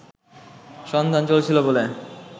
সন্ধান চলছিল বলে